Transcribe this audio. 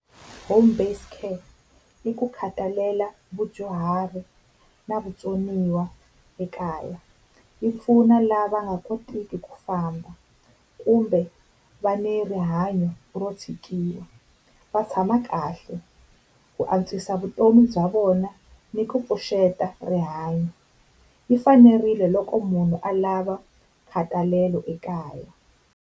Home based care i ku khathalela vudyuhari na vutsoniwa ekaya. Yi pfuna lava nga koteki ku famba kumbe va ni rihanyo ro tshikiwa, va tshama kahle ku antswisa vutomi bya vona ni ku pfuxeta rihanyo. Yi fanerile loko munhu alava nkhatalelo ekaya.